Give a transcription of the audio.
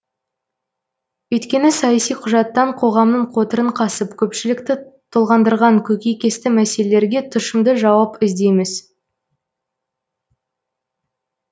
өйткені саяси құжаттан қоғамның қотырын қасып көпшілікті толғандырған көкейкесті мәселелерге тұщымды жауап іздейміз